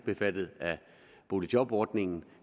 omfattet af boligjobordningen